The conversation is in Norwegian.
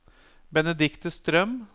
Benedikte Strøm